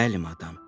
Bəli, madam.